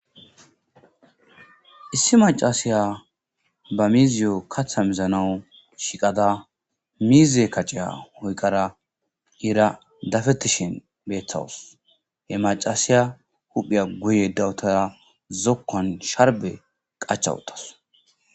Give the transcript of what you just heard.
issi macaasiya ba miziyo katha mizanawu shiqada miize kacceya hoyqara ira dafettishen beththawus he macaasiya huphiya guye dawutara zokkan sharbe qachawutas